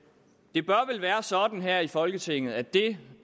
det bør vel være sådan her i folketinget at det